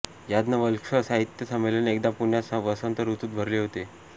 याज्ञवल्क्य साहित्य संमेलन एकदा पुण्यात वसंत ऋतूत भरले होते